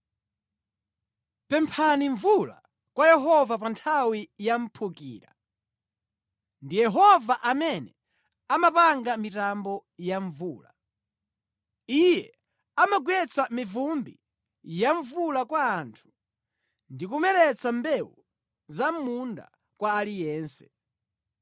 Pemphani mvula kwa Yehova pa nthawi yamphukira; ndi Yehova amene amapanga mitambo ya mvula. Iye amagwetsa mivumbi ya mvula kwa anthu, ndi kumeretsa mbewu za mʼmunda kwa aliyense.